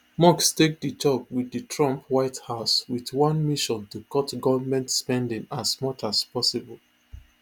musk take di job wit di trump white house wit one mission to cut goment spending as much as possible